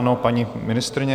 Ano, paní ministryně.